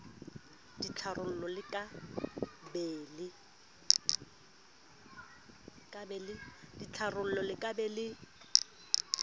ditharollo le ka be le